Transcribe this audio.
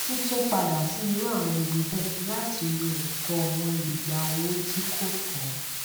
títún padà sí irú àwọn ibi bẹẹ láti lo ẹtọ wọn lè gba owó tí kò tó